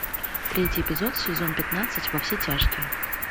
третий эпизод сезон пятнадцать во все тяжкие